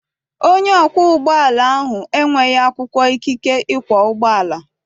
Onye ọkwọ ụgbọala ahụ enweghị akwụkwọ ikike ikwọ ụgbọala.